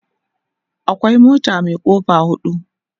akwai mota Mai kofa hudu